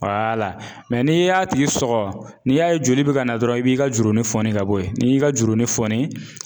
Wala mɛ n'i y'a tigi sɔgɔ n'i y'a ye joli bɛ ka na dɔrɔn, i b'i ka jurunin fɔni ka bɔ yen, n'i y'i ka jurunin fɔni.